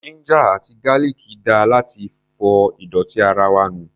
Ginger àti garlic dáa láti fọ ìdọ̀tí ara wa nù.